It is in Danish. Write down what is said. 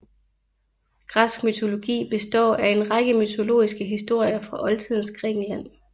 Græsk mytologi består af en række mytologiske historier fra Oldtidens Grækenland